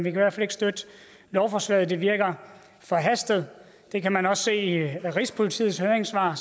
i hvert fald ikke støtte lovforslaget det virker forhastet og det kan man også se i rigspolitiets høringssvar